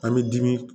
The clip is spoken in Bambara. An bɛ dimi